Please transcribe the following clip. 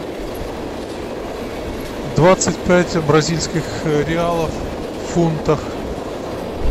двадцать пять бразильских реалов в фунтах